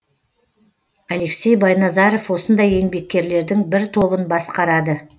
алексей байназаров осындай еңбеккерлердің бір тобын басқарады